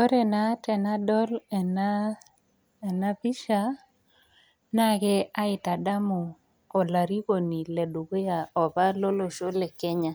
Ore naa tenadol enapisha, na ke aitadamu olarikoni ledukuya apa lolosho le Kenya.